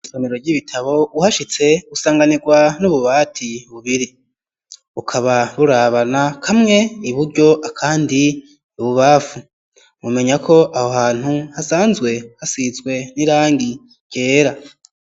Isomero ry'ibitabo uhashitse gusanganirwa n'ububati bubiri ukaba burabana, kamwe iburyo akandi ibubafu mumenya ko aho hantu hasanzwe hasizwe n'irangi ryera.